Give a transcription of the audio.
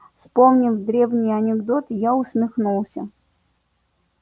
вспомнив древний анекдот я усмехнулся